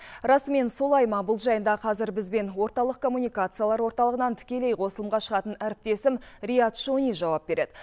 расымен солай ма бұл жайында қазір бізбен орталық коммуникациялар орталығынан тікелей қосылымға шығатын әріптесім риат шони жауап береді